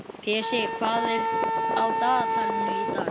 Pési, hvað er á dagatalinu í dag?